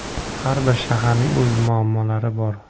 Har bir shaharning o‘z muammolari bor.